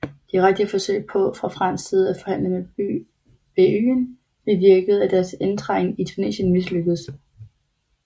Direkte forsøg på fra fransk side at forhandle med beyen bevirkede at deres indtrængen i Tunesien mislykkedes